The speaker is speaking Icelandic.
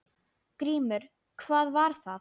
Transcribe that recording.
GRÍMUR: Hvað var það?